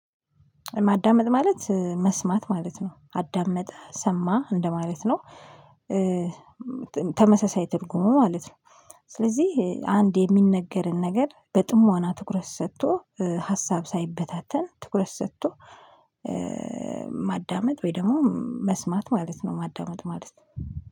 ማዳመጥ ማለት መስማት ማለት ነው አዳመጠ ሰማ እንደማለት ነው። ኧ ትርጉሙ ማለት ነው ስለዚህ አንድ የሚነገርን ነገር በጥሞና ትኩረት ሰጥቶ ሀሳብ ሳይበታተን ትኩረት ሰጥቶ ማዳመጥ ወይ ደሞ መስማት ማለት ነው ማዳመጥ ማለት